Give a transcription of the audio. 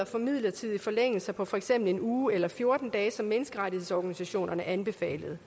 for midlertidige forlængelser på for eksempel en uge eller fjorten dage som menneskerettighedsorganisationerne anbefalede